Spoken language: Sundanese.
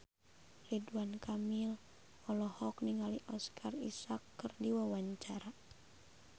Ridwan Kamil olohok ningali Oscar Isaac keur diwawancara